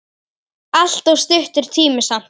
Allt of stuttur tími samt.